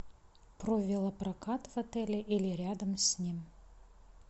про велопрокат в отеле или рядом с ним